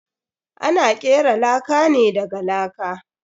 Ana kera laka ne daga laka.